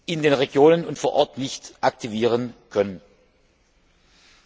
in den Regionen und vor Ort nicht verwirklichen können.